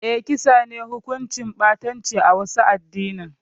Eh, kisa ne hukunci ɓatanci a wasu adinin